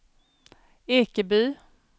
Ekeby